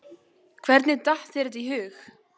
Hvernig datt þér það í hug?